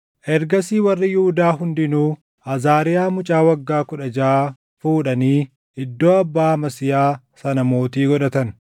Ergasii warri Yihuudaa hundinuu Azaariyaa mucaa waggaa kudha jaʼaa fuudhanii iddoo abbaa Amasiyaa sana mootii godhatan.